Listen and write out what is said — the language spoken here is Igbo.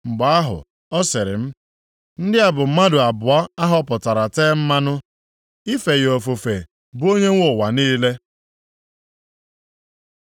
Mgbe ahụ, ọ sịrị m, “Ndị a bụ mmadụ abụọ a họpụtara tee mmanụ, ife ya ofufe bụ Onyenwe ụwa niile.”